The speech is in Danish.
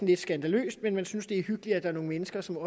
lidt skandaløst men man synes det er hyggeligt at nogle mennesker som